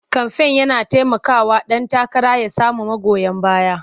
Kamfen yana taimakawa ɗan takara ya samu magoya baya.